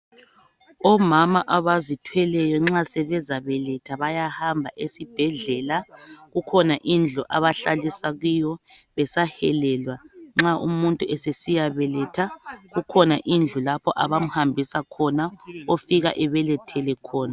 Omama abazithweleyo nxa sebezabeletha bayahamba ezibhedlela kukhona indlu abahlaliswa kiyo besahelelwa nxa umuntu esesiya beletha kukhona indlu abamhambisa khona ofike ebelethele khona.